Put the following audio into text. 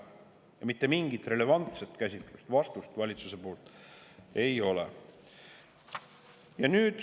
Ja mitte mingit relevantset käsitlust, vastust valitsusel ei ole.